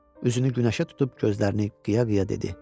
Üzünü günəşə tutub gözlərini qiya-qiya dedi.